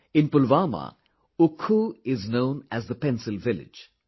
In Pulwama, Oukhoo is known as the Pencil Village